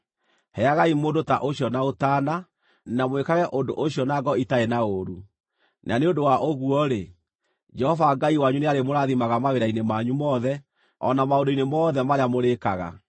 Heagai mũndũ ta ũcio na ũtaana, na mwĩkage ũndũ ũcio na ngoro itarĩ na ũũru; na nĩ ũndũ wa ũguo-rĩ, Jehova Ngai wanyu nĩarĩmũrathimaga mawĩra-inĩ manyu mothe, o na maũndũ-inĩ mothe marĩa mũrĩĩkaga.